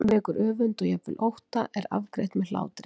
Slík eru gífuryrðin, slíkar eru oft upphrópanirnar.